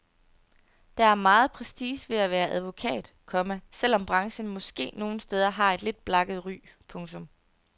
Der er meget prestige ved at være advokat, komma selv om branchen måske nogle steder har et lidt blakket ry. punktum